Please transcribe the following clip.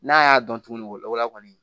N'a y'a dɔn tuguni o la wala kɔni